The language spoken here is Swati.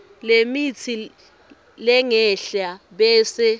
lemitsi lengenhla bese